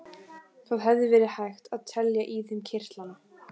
Það hefði verið hægt að telja í þeim kirtlana.